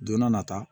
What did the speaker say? Don n'a nata